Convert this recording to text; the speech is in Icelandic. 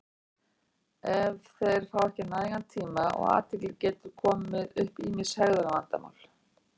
Ef þeir fá ekki nægan tíma og athygli geta komið upp ýmis hegðunarvandamál.